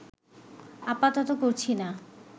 আপাতত করছি না